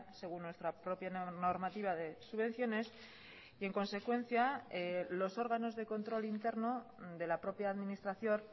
según nuestra propia normativa de subvenciones y en consecuencia los órganos de control interno de la propia administración